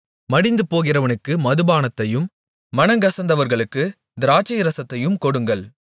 மடிந்துபோகிறவனுக்கு மதுபானத்தையும் மனங்கசந்தவர்களுக்குத் திராட்சைரசத்தையும் கொடுங்கள்